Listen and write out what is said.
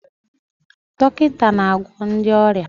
Dọkịta na-agwọ ndị ọrịa.